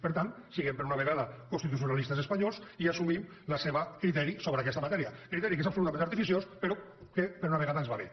per tant siguem per una vegada constitucionalistes espanyols i assumim el seu criteri sobre aquesta matèria criteri que és absolutament artificiós però que per una vegada ens va bé